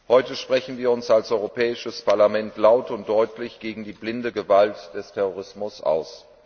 Heute sprechen wir uns als Europäisches Parlament laut und deutlich gegen die blinde Gewalt des Terrorismus aus.